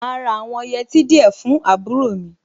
Màá ra àwọn yẹtí díẹ̀ fún àbúrò mi.